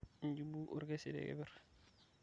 ijubu orkesi tekepr